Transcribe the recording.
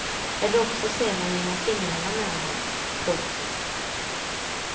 Eller också ser man genom fingrarna med honom. punkt